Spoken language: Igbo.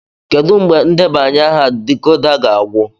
Kedu mgbe ndebanye aha decoder ga-agwụ?